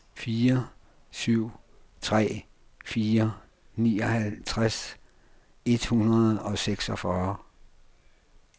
fire syv tre fire nioghalvtreds et hundrede og seksogfyrre